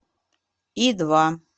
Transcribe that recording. и два